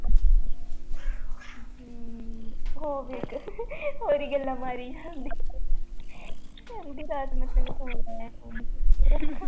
ਹਮ ਉਹ ਵੀ ਇੱਕ ਹੋਰ ਹੀ ਗੱਲਾਂ ਮਾਰੀ ਜਾਂਦੀਆਂ ਕਹਿੰਦੀ ਰਾਤ ਮੈਂ ਤੈਨੂੰ phone ਲਾਇਆ